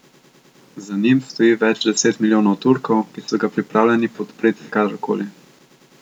Za njim stoji več deset milijonov Turkov, ki so ga pripravljeni podpreti kadarkoli.